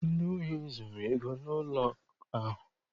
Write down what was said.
Ndị ohi zuru ego n'ụlọakụ ahụ.